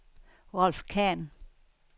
Rolf Khan